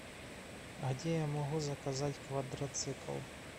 где я могу заказать квадроцикл